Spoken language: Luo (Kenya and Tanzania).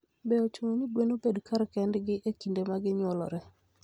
Be ochuno ni gwen obed kar kendgi e kinde ma ginyuolore?